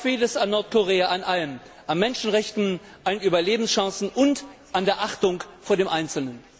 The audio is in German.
Noch fehlt es Nordkorea an allem an Menschenrechten, an Überlebenschancen und an der Achtung vor dem Einzelnen.